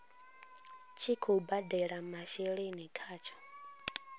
tshi khou badela masheleni khatsho